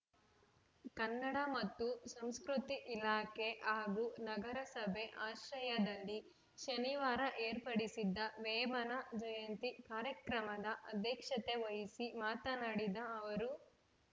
ಕನ್ನಡ ಮತ್ತು ಸಂಸ್ಕೃತಿ ಇಲಾಖೆ ಹಾಗೂ ನಗರಸಭೆ ಆಶ್ರಯದಲ್ಲಿ ಶನಿವಾರ ಏರ್ಪಡಿಸಿದ್ದ ವೇಮನ ಜಯಂತಿ ಕಾರ್ಯಕ್ರಮದ ಅಧ್ಯಕ್ಷತೆ ವಹಿಸಿ ಮಾತನಾಡಿದ ಅವರು